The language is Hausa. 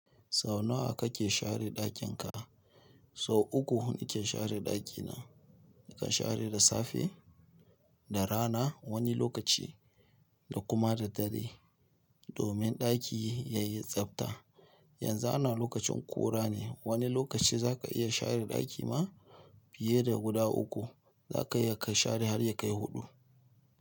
Sau nawa kake share ɗakin ka? Sau uku nike share ɗakina. Nakan share da safe, da rana wani lokaci da kuma da dare. Domin ɗaki ya yi tsabta. Yanzu ana lokacin ƙura ne, wani lokaci za ka iya share ɗaki ma fiye da guda uku. Za ka iya ka share har ya kai huɗu.